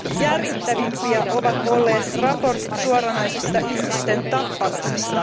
Järkyttävimpiä ovat olleet raportit suoranaisesta ihmisten tappamisesta.